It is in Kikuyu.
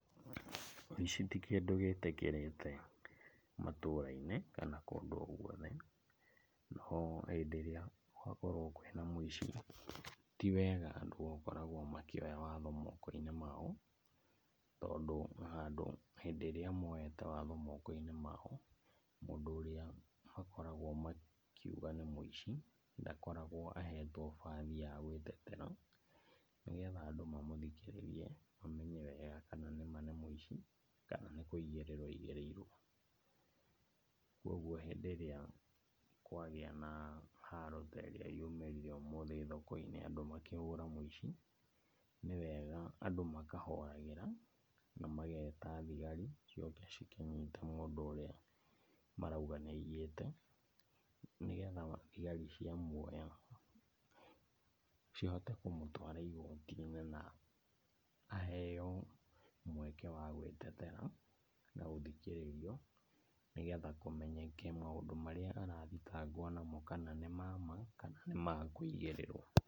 Ũici ti kĩndũ gĩtĩkĩrĩte matũra-inĩ kana kũndũ o guothe, no hĩndĩ ĩrĩa gwakorwo kwĩ na mũici, ti wega andũ gũkoragwo makĩoya watho moko-inĩ mao. Tondũ handũ hĩndĩ ĩrĩa moete watho moko-inĩ mao, mũndũ ũrĩa makoragwo makiuga nĩ mũici, ndakoragwo ahetwo bathi ya gwĩtetera, nĩgetha andũ mamũthikĩrĩrie mamenye wega kana nĩma nĩ mũici, kana nĩ kũigĩrĩrwo aigĩrĩirwo. Koguo hĩndĩ ĩrĩa kwagĩa na haro terĩa yumĩrire ũmũthĩ thoko-inĩ andũ makĩhũra mũici, nĩwega andũ makahoragĩra na mageta thigari ciũke cikĩnyite mũndũ ũrĩa marauga nĩaiyĩte. Nĩgetha thigari ciamuoya, cihote kũmũtwara igotinĩ na aheo mweke wa gwĩtetera na gũthikĩrĩrio, nĩgetha kũmenyeke maũndũ marĩa arathitangwo namo kana nĩ ma ma kana nĩmakũigĩrĩrwo.